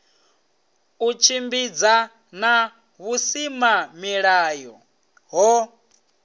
u tshimbidzana na vhusimamilayo ho